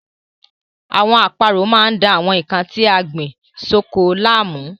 Àwọn àparò máa ń da àwọn nnkan tí a gbìn sóko láàmú.